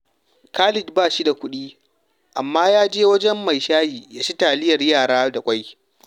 Khalid ba shi da kuɗi, amma ya je wajen mai shayi ya ci taliyar yara da ƙwai